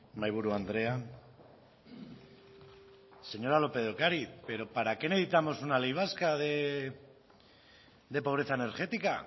mahaiburu andrea señora lópez de ocariz pero para qué necesitamos una ley vasca de pobreza energética